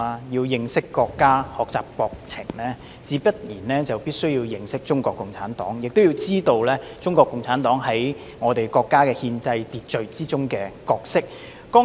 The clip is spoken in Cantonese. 要認識國家、學習國情，必然要認識中國共產黨，亦要知道中國共產黨在國家憲制秩序中的角色。